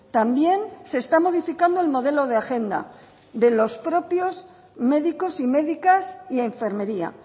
también se está modificando el modelo de agenda de los propios médicos y médicas y enfermería